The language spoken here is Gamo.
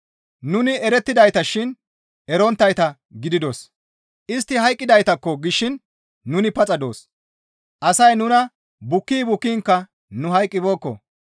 Nuni erettidayta shin erettonttayta gididos; istti hayqqidaytakko gishin nuni paxa doos; asay nuna bukki bukkiinkka nu hayqqibeekko.